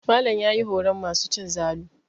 Malam ya yi horon masu cin zalu.